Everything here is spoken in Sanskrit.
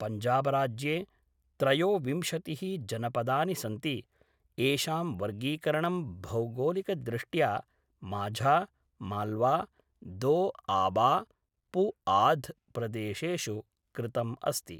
पञ्जाबराज्ये त्रयोविंशतिः जनपदानि सन्ति, येषां वर्गीकरणं भौगोलिकदृष्ट्या माझा, माल्वा, दोआबा, पुआध् प्रदेशेषु कृतम् अस्ति